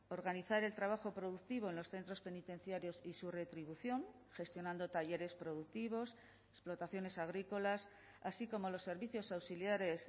organizar el trabajo productivo en los centros penitenciarios y su retribución gestionando talleres productivos explotaciones agrícolas así como los servicios auxiliares